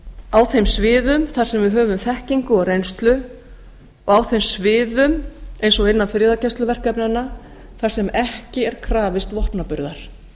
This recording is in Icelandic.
á þeim sviðum þar sem við höfum þekkingu og reynslu og á þeim sviðum eins og innan friðargæsluverkefnanna þar sem ekki er krafist vopnaburðar